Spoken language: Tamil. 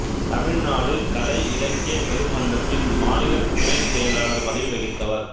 தமிழ்நாடு கலை இலக்கியப் பெருமன்றத்தின் மாநிலத் துணைச் செயலாளர் பதவி வகித்தவர்